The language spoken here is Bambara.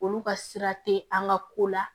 Olu ka sira te an ka ko la